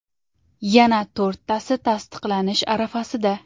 Yana to‘rttasi tasdiqlanish arafasida.